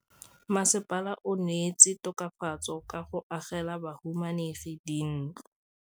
Mmasepala o neetse tokafatsô ka go agela bahumanegi dintlo.